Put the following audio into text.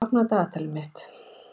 Kristel, opnaðu dagatalið mitt.